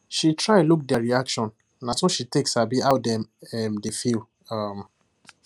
she try look their reaction nah so she take sabi how dem um dey feel um